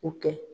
O kɛ